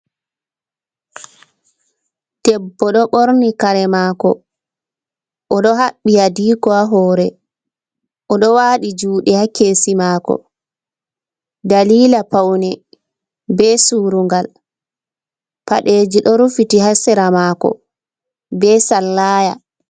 Ɗeɓbo ɗo ɓorni kare mako o ɗo haɓbi haɗiko ha hore o ɗo waɗi juɗe ha kesi mako dalila paune ɓe surùgàl paɗeji ɗo rufiti haséra mako ɓe sallaya.